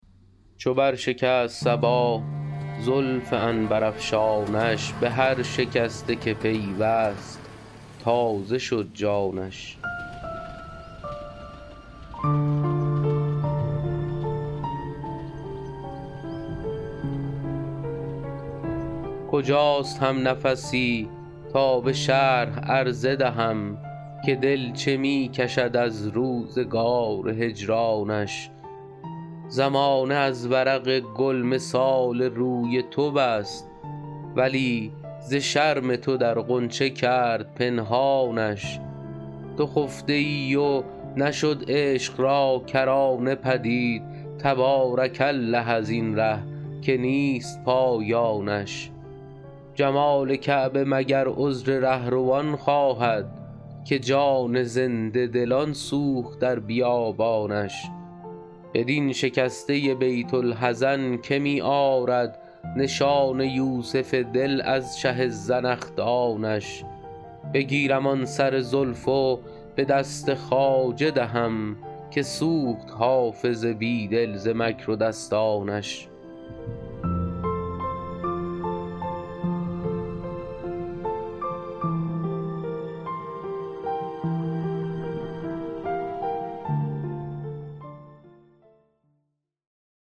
چو بر شکست صبا زلف عنبرافشانش به هر شکسته که پیوست تازه شد جانش کجاست همنفسی تا به شرح عرضه دهم که دل چه می کشد از روزگار هجرانش زمانه از ورق گل مثال روی تو بست ولی ز شرم تو در غنچه کرد پنهانش تو خفته ای و نشد عشق را کرانه پدید تبارک الله از این ره که نیست پایانش جمال کعبه مگر عذر رهروان خواهد که جان زنده دلان سوخت در بیابانش بدین شکسته بیت الحزن که می آرد نشان یوسف دل از چه زنخدانش بگیرم آن سر زلف و به دست خواجه دهم که سوخت حافظ بی دل ز مکر و دستانش